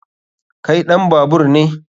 Kai ɗan babaur ne?